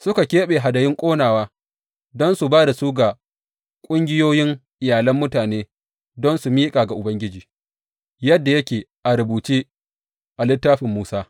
Suka keɓe hadayun ƙonawa don su ba da su ga ƙungiyoyin iyalan mutane don su miƙa ga Ubangiji, yadda yake a rubuce a Littafin Musa.